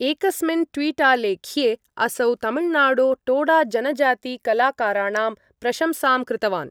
एकस्मिन् ट्वीटालेख्ये असौ तमिलनाडो टोडाजनजातिकलाकाराणाम् प्रशंसां कृतवान्।